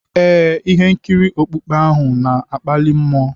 Ee, ihe nkiri okpukpe ahụ na-akpali m.